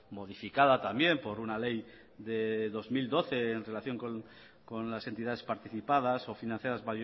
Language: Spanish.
modificada también por una ley de dos mil doce en relación con las entidades participadas o financiadas